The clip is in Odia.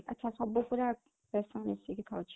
ଆଛା, ସବୁ ପୁରା ଦେଶ ମିଶିକି ହଉଛି